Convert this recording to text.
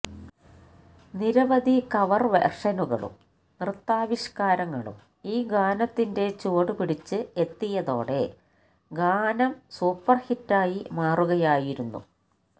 നിരവധി കവർ വേർഷനുകളും നൃത്താവിഷ്കാരങ്ങളും ഈ ഗാനത്തിന്റെ ചുവടുപിടിച്ച് എത്തിയതോടെ ഗാനം സൂപ്പർഹിറ്റായി മാറുകയായിരുന്നു